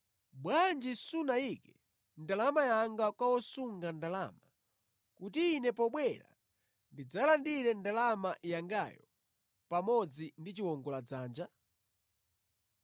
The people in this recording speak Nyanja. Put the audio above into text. Bwanji sunayike ndalama yanga kwa osunga ndalama kuti ine pobwera ndidzalandire ndalama yangayo pamodzi ndi chiwongoladzanja?